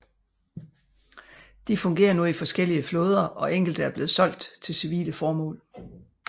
De fungerer nu i forskellige flåder og enkelte er blevet solgt til civile formål